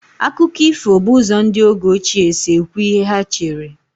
Akụkọ ifo bụ ụzọ ndị oge ochie si ekwu ihe ha chere.